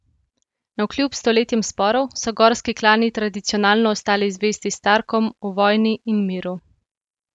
Navkljub stoletjem sporov so gorski klani tradicionalno ostali zvesti Starkom v vojni in miru.